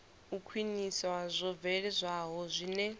u khwinisa zwo bveledzwaho zwine